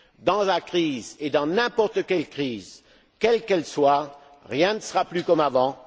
Dans la crise et dans n'importe quelle crise, quelle qu'elle soit, rien ne sera plus comme avant.